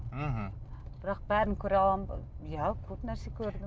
мхм бірақ бәрін көре аламын ба иә көп нәрсе көрдім